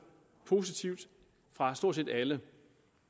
positivt fra stort set alle